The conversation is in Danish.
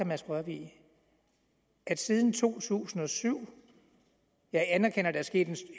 mads rørvig at der siden to tusind og syv jeg anerkender at der er sket